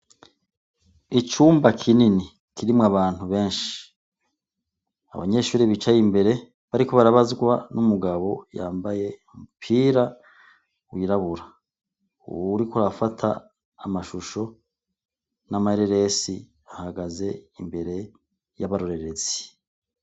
Icumba kinini kirimwo abantu benshi abanyeshuri bicaye imbere bariko barabazwa n'umugabo yambaye mupira wirabura uwuriko arafata amashusho n'amareresi ahagaze imbere y'abarorerezi.